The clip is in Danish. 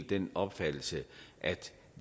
den opfattelse at